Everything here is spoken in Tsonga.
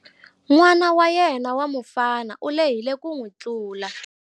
N'ana wa yena wa mufana u lehile ku n'wi tlula.